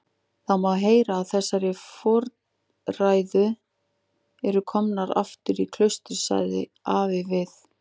Það má heyra að þessar fordæður eru komnar aftur í klaustrið, sagði afi við